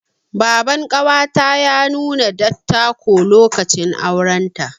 Baban ƙawata ya nuna dattako, lokacin auren ta.